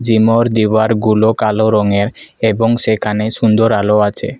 Gym -অর দেওয়ার -গুলো কালো রঙের এবং সেখানে সুন্দর আলো আছে।